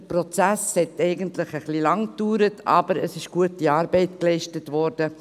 Der Prozess hat eigentlich ein bisschen lange gedauert, aber es ist gute Arbeit geleistet worden.